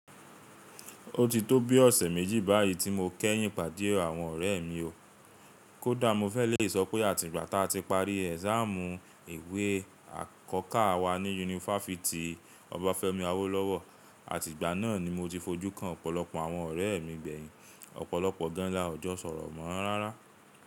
Ó ti tó bi ọ̀sẹ̀ méjì báyìí tí mo kẹ́yìn pàdé àwọn ọ̀rẹ́ mi o. Kódà mo fẹ́ ẹ̀ lè sọ pé tí ati parí exam ìwé àkọ́kà wa ni Unifásitì Ọbáfẹ́mi Awólọ́wọ̀ àti ìgba náà ni mo ti fojú kan ọ̀pọ̀lọpọ̀ àwọn ọ̀rẹ́ mí gbẹ̀yìn. Ọ̀pọ̀lọpọ̀ gan la ò jọ sọ̀rọ̀ mọ́ árárá.